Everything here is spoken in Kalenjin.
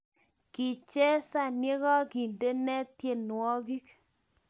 Kichesan ya kokindene tyenwogik